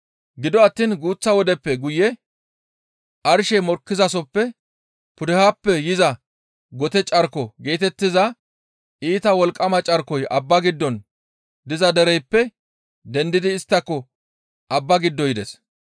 Gido attiin guuththa wodeppe guye, «Arshey mokkizasoppe pudehappe yiza gote carko» geetettiza iita wolqqama carkoy abba giddon diza dereyppe dendidi isttako abba giddo yides.